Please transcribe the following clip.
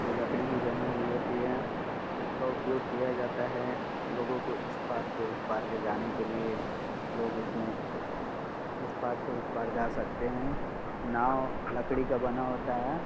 ये लकड़ी की बनी हुई होती है। इसका उपयोग किया जाता है लोगों को इस पार से उस पार ले जाने के लिए लोग इस में इस पार से उस पार जा सकते हैं। नांव लकड़ी का बना होता है। .